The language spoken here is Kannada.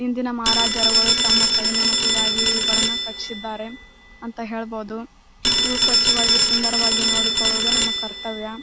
ಹಿಂದಿನ ಮಹಾರಾಜರುಗಳು ತಮ್ಮ ಸವಿ ನೆನಪಿಗಾಗಿ ಇವುಗಳನ್ನು ಕಟ್ಟಿಸಿದ್ದಾರೆ ಅಂತ ಹೇಳ್ಬಹುದು ಇವು ಸ್ವಚ್ಛವಾಗಿ ಸುಂದರವಾಗಿ ನೋಡಿಕೊಳ್ಳುವುದು ನಮ್ಮ ಕರ್ತವ್ಯ.